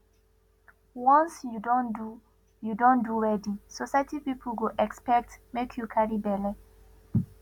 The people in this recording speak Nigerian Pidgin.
once you don do you don do wedding society pipu go expect make you carry belle